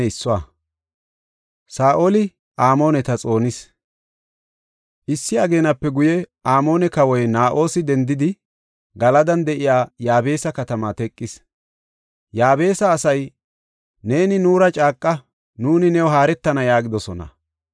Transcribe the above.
Issi ageenape guye, Amoone kawoy Na7oosi dendidi, Galadan de7iya Yaabesa katamaa teqis. Yaabesa asay, “Neeni nuura caaqa; nuuni new haaretana” yaagidosona.